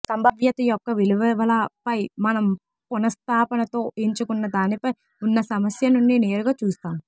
సంభావ్యత యొక్క విలువలపై మనం పునఃస్థాపనతో ఎంచుకున్న దానిపై ఉన్న సమస్య నుండి నేరుగా చూస్తాము